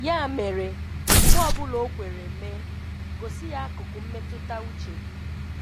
Ya mere, mgbe ọ bụla o kwere mee, gosi ya akụkụ mmetụta uche gị.